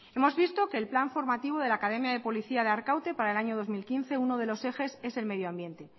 hemos visto que el plan formativo de la academia de policía de arkaute para el año dos mil quince uno de los ejes es el medio ambiente